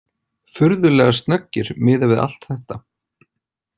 Furðulega snöggir miðað við allt þetta.